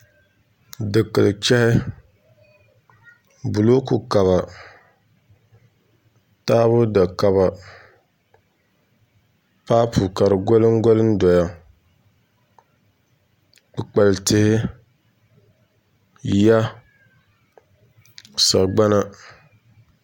Dikili chɛhi bulooku kaba taabo da kaba paapu ka di golim golim doya kpukpali tihi yiya sagbana